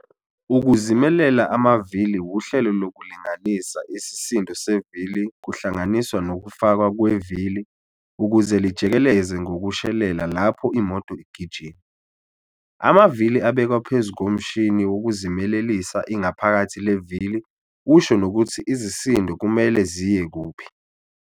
Ukuzimelela amavili wuhlelo lokulinganisa isisindo sevili kuhlanganiswa nokufakwa kwevili ukuze lijikeleze ngokushelela lapho imoto igijima. Amavili abekwa phezu komshini wokuzimelelisa ingaphakathi levili usho nokuthi izisindo kumele ziye kuphi.